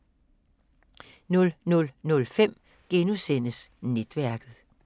00:05: Netværket *